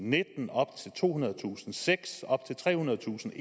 nitten op til tohundredetusind kr seks op til trehundredetusind